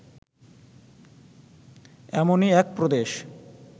এমনই এক প্রদেশ